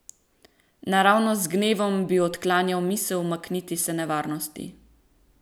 Naravnost z gnevom bi odklanjal misel umakniti se nevarnosti.